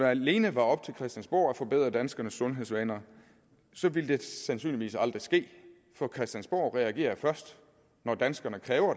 alene var op til christiansborg at forbedre danskernes sundhedsvaner ville det sandsynligvis aldrig ske for christiansborg reagerer først når danskerne kræver